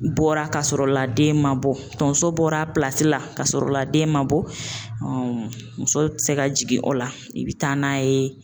Bɔra ka sɔrɔ la den ma bɔ tonso bɔra la ka sɔrɔ la den ma bɔ muso tɛ se ka jigin o la i bɛ taa n'a ye